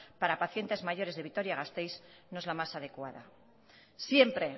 para pacientes mayores de vitoria gasteiz no es la más adecuada siempre